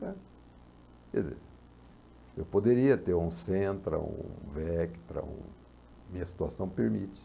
cá. Quer dizer, eu poderia ter um Centra, um Vectra, um... minha situação permite.